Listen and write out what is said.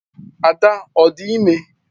. Ada ọ dị ime?